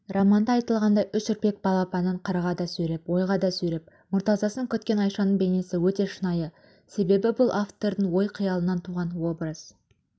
романда айтылғандай үш үрпек балапанын қырғада сүйреп ойға да сүйреп мұртазасын күткен айшаның бейнесі өте шынайы себебі бұл автордың ой-қиялынан туған образ